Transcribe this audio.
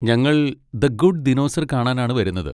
ഞങ്ങൾ the good dinosaur കാണാനാണ് വരുന്നത്.